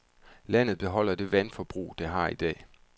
Landet beholder det vandforbrug det har i dag.